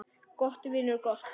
Gott, vinur, gott.